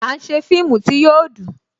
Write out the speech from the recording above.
À ń ṣe fíìmù tí yo dùn